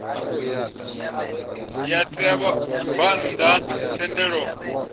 ya ṋea vhabvann ḓa thendelo